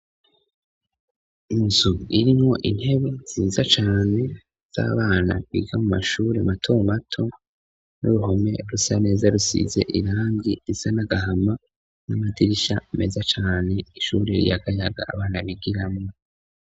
inzu irimwo intebe nziza cane z'abana biga mu mashuri matomato n'uruhome rusa neza rusize irangi risa nagahama n'amadirisha meza cane ishuri ryagayaga abana bigiramo